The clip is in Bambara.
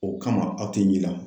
O kama aw tɛ n yela